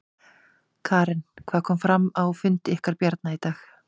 Karen: Og hvað kom fram á fundi ykkar Bjarna í dag?